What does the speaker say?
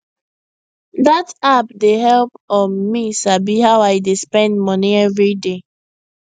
that app dey help um me sabi how i dey spend money every day